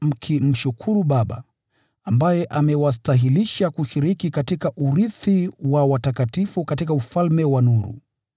mkimshukuru Baba, ambaye amewastahilisha kushiriki katika urithi wa watakatifu katika ufalme wa nuru.